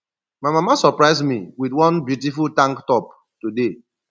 my mama surprise me with one beautiful tank top today